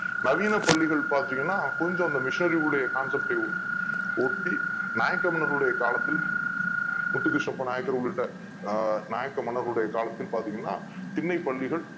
நவீன பள்ளிகள் பார்த்தீங்கன்னா கொஞ்சம் இந்த Missionary உடைய Concept ஒட்டி நாயக்கர் மன்னர் களுடைய காலத்தில் முத்து கிருஷ்ணப்ப நாயக்கர் உள்ளிட்ட நாயக்க மன்னர்கள் உடைய காலத்தில் பாத்தீங்கன்னா திண்ணை பள்ளிகள்